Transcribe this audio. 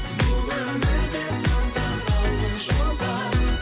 бұл өмірде сан тараулы жол бар